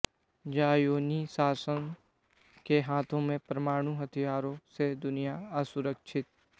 ज़ायोनी शासन के हाथों में परमाणु हथियारों से दुनिया असुरक्षित